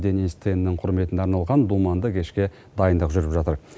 денис теннің құрметіне арналған думанды кешке дайындық жүріп жатыр